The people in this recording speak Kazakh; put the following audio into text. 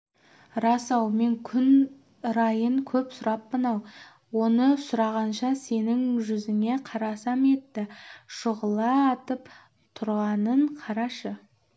рас-ау мен күн райын көп сұраппын-ау оны сұрағанша сенің жүзіне қарасам етті шұғыла атып тұрғанын қарашы